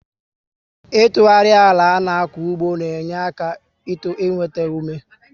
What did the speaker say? Itughari àlà ana-aku ugbo n'enyere àlà aka i nwétá ume